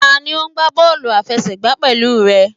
Tani o n gba bọọlu afẹsẹgba pẹlu rẹ?